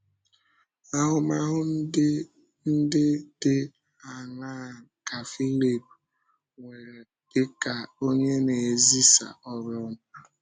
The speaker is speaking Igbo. Ahụmahụ ndị ndị dị áńaa ka Fílíp nwere dị ka onye na-ezisa ọ́rụ ọma?